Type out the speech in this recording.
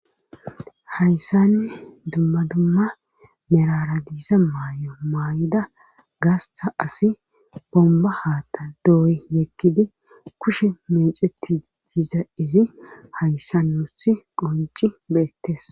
hayssanni dumma dumma merara diiza maay7o maay7ida gaasta asi bomba haatta dooy yekkidi kushe meeceti diiza izi hayssa nosi qonci beettes